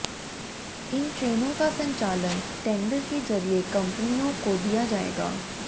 इन ट्रेनों का संचालन टेंडर के जरिए कंपनियों को दिया जाएगा